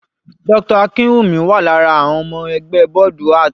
Dr. Akinwumi wà lára àwọn ọmọ ẹgbẹ́ bọ́ọ̀dù art.